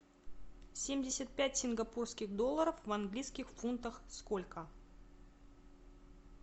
семьдесят пять сингапурских долларов в английских фунтах сколько